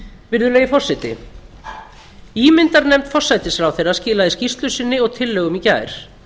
virðulegi forseti ímyndarnefnd forsætisráðherra skilaði skýrslu sinni og tillögum í gær